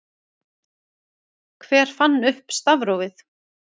Hver fann upp stafrófið?